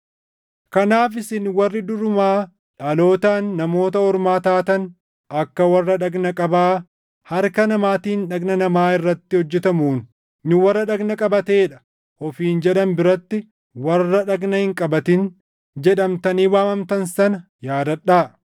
Kanaaf isin warri durumaa dhalootaan Namoota Ormaa taatan akka warra dhagna qabaa harka namaatiin dhagna namaa irratti hojjetamuun, “Nu warra dhagna qabatee dha” ofiin jedhan biratti “Warra dhagna hin qabatin” jedhamtanii waamamtan sana yaadadhaa;